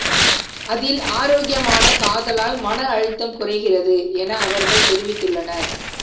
அதில் ஆரோக்கியமான காதலால் மன அழுத்தம் குறைகிறது என அவர்கள் தெரிவித்துள்ளனர்